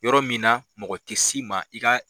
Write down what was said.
Yɔrɔ min na mɔgɔ ti s'i ma i ka